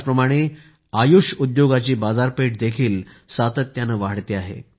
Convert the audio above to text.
याचप्रमाणे आयुष उद्योगाची बाजारपेठ देखील सातत्याने वाढते आहेत